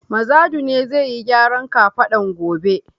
Mazadu ne zai yi gyaran kafadan gobe.